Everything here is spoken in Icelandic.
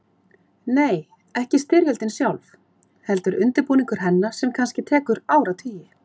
Nei, ekki styrjöldin sjálf, heldur undirbúningur hennar sem kannski tekur áratugi.